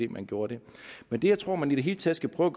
man gjorde det men jeg tror at man i det hele taget skal prøve